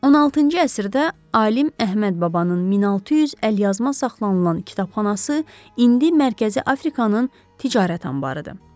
16-cı əsrdə alim Əhməd Babanın 1600 əlyazma saxlanılan kitabxanası indi Mərkəzi Afrikanın ticarət anbarıdır.